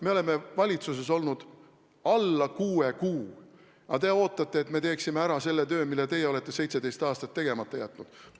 Me oleme valitsuses olnud alla kuue kuu, aga te ootate, et me teeksime ära selle töö, mille teie olete 17 aastaga tegemata jätnud.